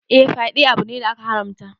Eh, fyaɗe abu ne da aka haramta.